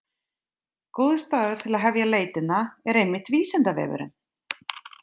Góður staður til að hefja leitina er einmitt Vísindavefurinn!